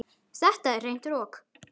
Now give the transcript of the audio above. Þetta er hreint rokk